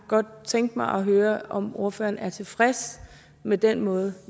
godt tænke mig at høre om ordføreren er tilfreds med den måde